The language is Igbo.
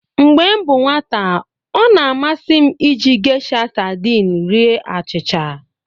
Mgbe m bụ nwata, ọ na-amasị m iji Gesha sadini rie achịcha.